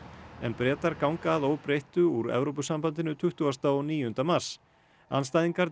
en Bretar ganga að óbreyttu úr Evrópusambandinu tuttugasta og níunda mars andstæðingar